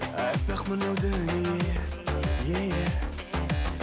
аппақ мынау дүние еее